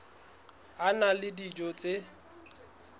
a na le dijo tse